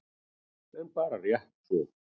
En bara rétt svo.